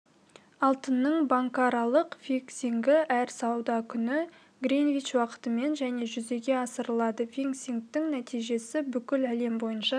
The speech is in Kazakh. алтынның банкаралық фиксингі әр сауда күні гринвич уақытымен және жүзеге асырылады фиксингтің нәтижесі бүкіл әлем бойынша